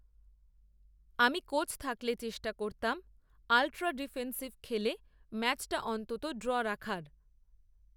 আমি কোচ থাকলে চেষ্টা করতাম, আলট্রা ডিফেন্সিভ, খেলে ম্যাচটা অন্তত ড্র রাখার